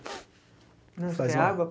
Fazer uma Quer água?